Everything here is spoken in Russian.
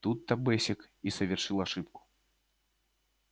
тут то бэсик и совершил ошибку